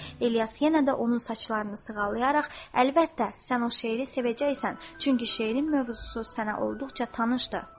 İlyas yenə də onun saçlarını sığallayaraq, əlbəttə, sən o şeiri sevəcəksən, çünki şeirin mövzusu sənə olduqca tanışdır.